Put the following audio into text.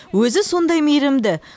өзі сондай мейірімді